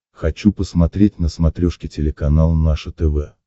хочу посмотреть на смотрешке телеканал наше тв